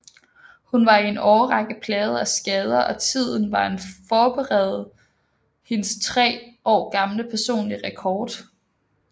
Hun var i en årrække plaget af skader og tiden var en forbedrede hendes tre år gamle personlige rekord